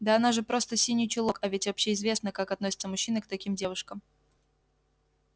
да она же просто синий чулок а ведь общеизвестно как относятся мужчины к таким девушкам